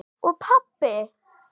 Og pabba!